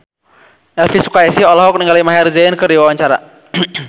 Elvi Sukaesih olohok ningali Maher Zein keur diwawancara